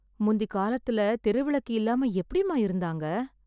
முந்திகாலத்துல தெரு விளக்கு இல்லாம எப்டிம்மா இருந்தாங்க?